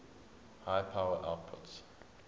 high power outputs